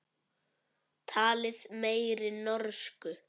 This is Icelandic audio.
Talið meiri norsku.